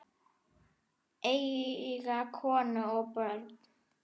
Eiga konu og börn?